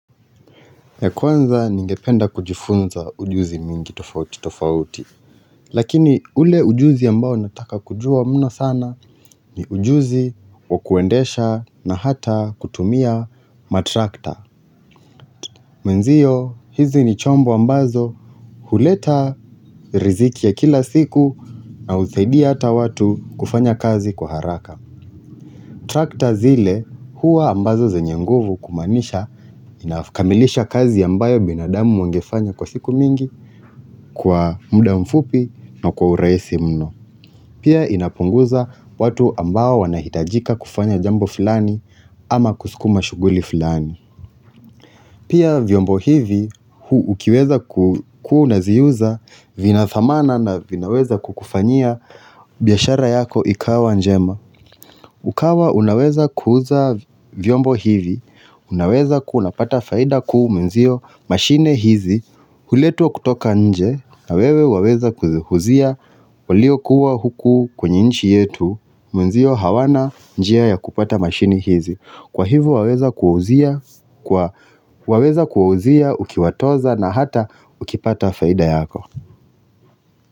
Ya kwanza ningependa kujifunza ujuzi mingi tofauti tofauti, lakini ule ujuzi ambao nataka kujua mno sana ni ujuzi wakuendesha na hata kutumia matrakta. Mwenzio hizi ni chombo ambazo huleta riziki ya kila siku na husaidia hata watu kufanya kazi kwa haraka Trakta zile huwa ambazo zenye nguvu kumaanisha inakamilisha kazi ambayo binadamu wangefanya kwa siku mingi kwa muda mfupi na kwa urahisi mno. Pia inapunguza watu ambao wanahitajika kufanya jambo fulani ama kusukuma shughuli fulani. Pia vyombo hivi ukiweza kukuwa unaziuza vina dhamana na vinaweza kukufanyia biashara yako ikawa njema. Ukawa unaweza kuuza vyombo hivi, unaweza kuwu unapata faida kuu mwenzio mashine hizi. Huletwa kutoka nje na wewe waweza kuziuzia waliokua huku kwenye nchi yetu Mwenzio hawana njia ya kupata mashine hizi Kwa hivu waweza kuwauzia ukiwatoza na hata ukipata faida yako.